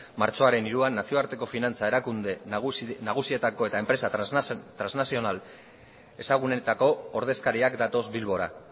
martxoaren hiruan nazioarteko finantza erakunde nagusietako eta enpresa trasnazional ezagunenetako ordezkariak datoz bilbora